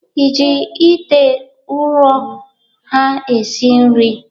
Ị ji ite ụrọ ha esi nri?